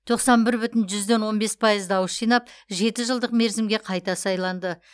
тоқсан бір бүтін жүзден он бес пайыз дауыс жинап жеті жылдық мерзімге қайта сайланды